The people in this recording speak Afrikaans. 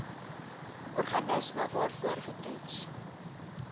organisme waarvoor getoets